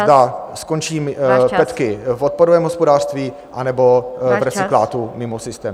... zda skončí... petky v odpadovém hospodářství, anebo... ... v recyklátu mimo systém.